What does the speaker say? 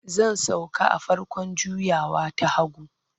Zan sauka a farkon juyawa ta hagu.